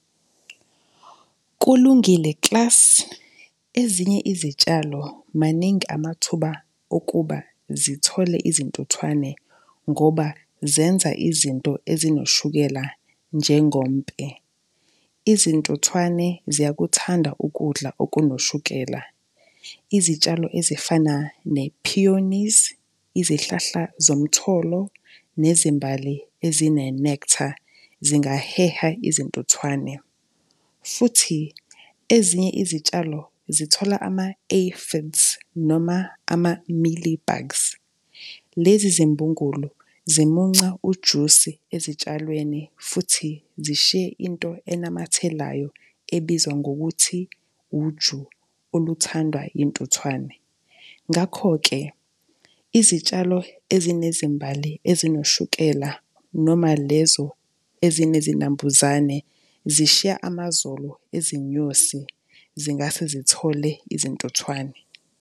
Kulungile klasi. Ezinye izitshalo, maningi amathuba okuba zithole izintuthwane ngoba zenza izinto ezinoshukela njengompe. Izintuthwane ziyakuthanda ukudla okunoshukela. Izitshalo ezifana ne-pioneers, izihlahla zomtholo nezimbali ezine-nectar zingaheha izintuthwane futhi ezinye izitshalo zithola noma ama-mealie bugs. Lezi zimbugulu zimunca ujusi ezitshalweni futhi zishiye into enamathelayo ebizwa ngokuthi uju, oluthandwa iy'ntuthwane. Ngakho-ke, izitshalo ezinezimbali ezinoshukela noma lezo ezinezinambuzane zishiya amazolo ezinyosi, zingase zithole izintuthwane.